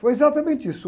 Foi exatamente isso.